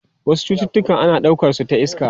Wasu cututtuka ana daukar su ta iska.